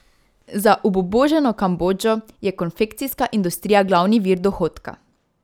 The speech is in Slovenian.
Za obubožano Kambodžo je konfekcijska industrija glavni vir dohodka.